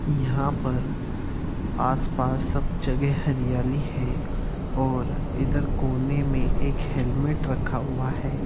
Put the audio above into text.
यहाँ पर आस-पास सब जगह हरियाली है और इधर कोने में एक हैल्मेट रखा हुआ है ।